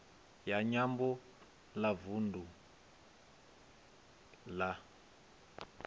ya nyambo ya vundu la